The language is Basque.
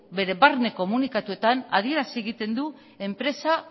bere barne komunikatuetan adierazi egiten du enpresa